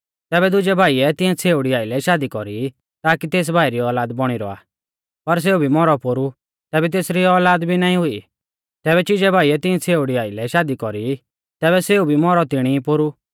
तैबै दुजै भाईऐ तिऐं छ़ेउड़ी आइलै शादी कौरी ताकि तेस भाई री औलाद बौणी रौआ पर सेऊ भी मौरौ पोरु तैबै तेसरी औलाद भी नाईं हुई तैबै चिजै भाईऐ तिऐं छ़ेउड़ी आइलै शादी कौरी तैबै सेऊ भी मौरौ तिणी पोरु